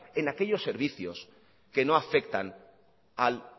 en aquellos servicios que no afectan al